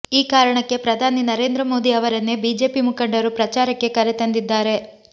ಈ ಕಾರಣಕ್ಕೆ ಪ್ರಧಾನಿ ನರೇಂದ್ರ ಮೋದಿ ಅವರನ್ನೇ ಬಿಜೆಪಿ ಮುಖಂಡರು ಪ್ರಚಾರಕ್ಕೆ ಕರೆ ತಂದಿದ್ದಾರೆ